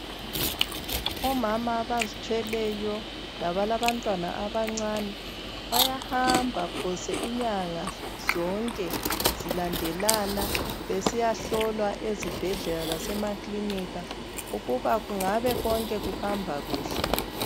Omama abazithweleyo labalabantwana abancane bayahamba phose inyanga zonke zilandelana besiyahlolwa ezibhedlela lasemaklinika ukuba kungabe konke kuhamba kuhle.